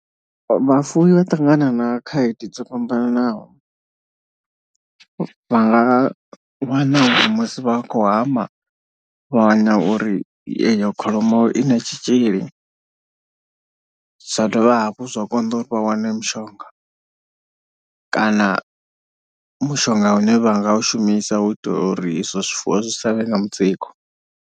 Vhafuwi vha ṱangana na khaedu dzo fhambananaho vha nga wana uri musi vha khou hama vhawana uri eyo kholomo i na tshitzhili. Zwa dovha hafhu zwa konḓa uri vha wane mushonga kana mushonga une vha nga u shumisa u itela uri izwo zwifuwo zwi savhe na mutsiko.